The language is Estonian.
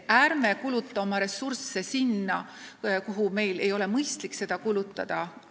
Ärme kulutame oma ressursse sellele, millele meil ei ole mõistlik neid kulutada!